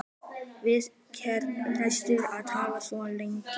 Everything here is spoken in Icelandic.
Við hvern varstu að tala svona lengi?